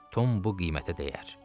Tom bu qiymətə dəyər.